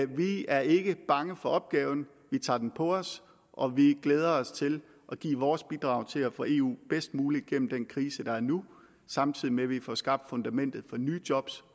vi er ikke bange for opgaven vi tager den på os og vi glæder os til at give vores bidrag til at få eu bedst muligt gennem den krise der er nu samtidig med at vi får skabt fundamentet for nye job